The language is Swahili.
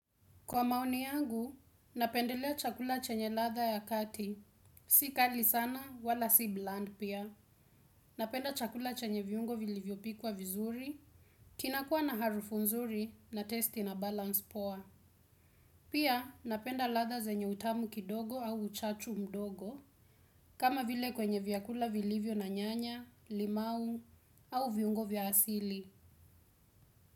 Kwa maoni yangu, napendelea chakula chenye latha ya kati. Si kali sana, wala si bland pia. Napenda chakula chenye viungo vilivyo pikwa vizuri. Kinakuwa na harufu nzuri na testi na balance poa. Pia, napenda latha zenye utamu kidogo au uchachu mdogo. Kama vile kwenye viakula vilivyo na nyanya, limau au viungo vya asili.